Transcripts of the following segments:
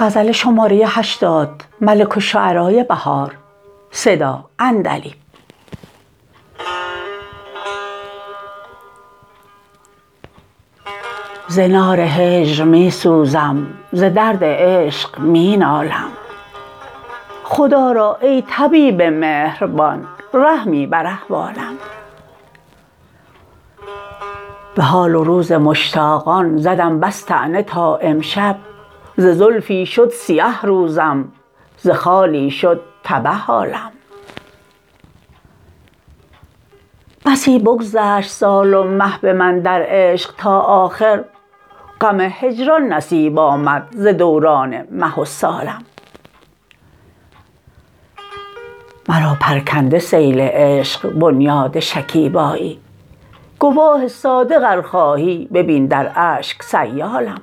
ز نار هجر می سوزم ز درد عشق می نالم خدا را ای طبیب مهربان رحمی بر احوالم به حال و روز مشتاقان زدم بس طعنه تا امشب ز زلفی شد سیه روزم ز خالی شد تبه حالم بسی بگذشت سال و مه به من در عشق تا آخر غم هجران نصیب آمد ز دوران مه و سالم مرا پرکنده سیل عشق بنیاد شکیبایی گواه صادق ار خواهی ببین در اشک سیالم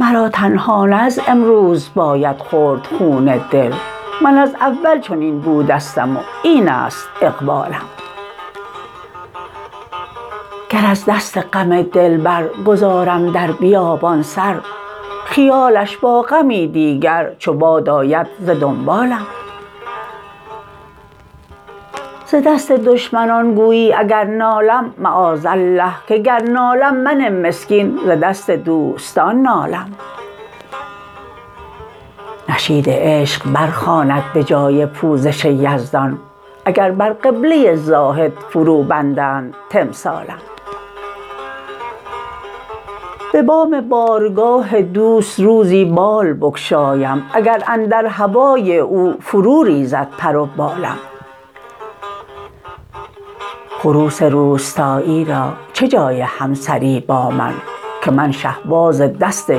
مرا تنها نه از امروز باید خورد خون دل من از اول چنین بودستم و این است اقبالم گر از دست غم دلبر گذارم در بیابان سر خیالش با غمی دیگر چو باد آید ز دنبالم ز دست دشمنان گویی اگر نالم معاذالله که کر نالم من مسکین ز دست دوستان نالم نشید عشق برخواند به جای پوزش یزدان اگر بر قبله زاهد فرو بندند تمثالم به بام بارگاه دوست روزی بال بگشایم اگر اندر هوای او فرو ریزد پر و بالم خروس روستایی را چه جای همسری با من که من شهباز دست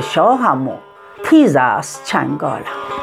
شاهم و نیز است چنگالم